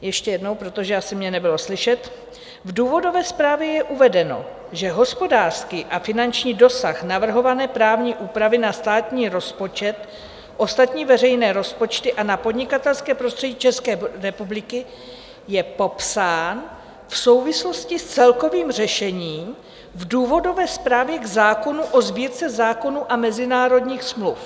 Ještě jednou, protože asi mě nebylo slyšet: V důvodové zprávě je uvedeno, že hospodářský a finanční dosah navrhované právní úpravy na státní rozpočet, ostatní veřejné rozpočty a na podnikatelské prostředí České republiky je popsán v souvislosti s celkovým řešením v důvodové zprávě k zákonu o Sbírce zákonů a mezinárodních smluv.